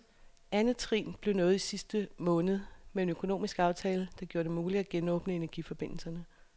Andet trin blev nået i sidste måned med en økonomisk aftale, der gjorde det muligt at genåbne energiforbindelserne.